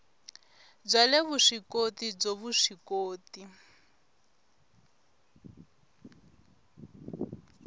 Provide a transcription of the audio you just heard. bya le vuswikoti byo vuswikoti